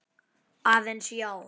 Aðeins, já.